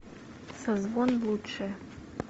созвон лучшее